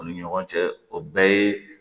U ni ɲɔgɔn cɛ o bɛɛ ye